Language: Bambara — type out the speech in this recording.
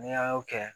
Ni an y'o kɛ